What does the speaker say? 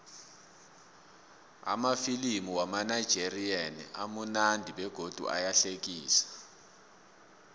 amafilimu wamanigerian amunandi begodu ayahlekisa